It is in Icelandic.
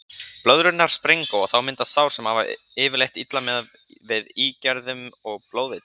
Blöðrurnar springa og þá myndast sár sem hafast yfirleitt illa við með ígerðum og blóðeitrun.